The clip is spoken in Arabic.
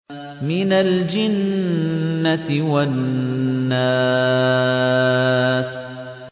مِنَ الْجِنَّةِ وَالنَّاسِ